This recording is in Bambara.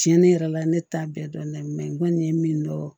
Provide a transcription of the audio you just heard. Tiɲɛ ne yɛrɛ la ne t'a bɛɛ dɔn n'a ye n kɔni ye min dɔn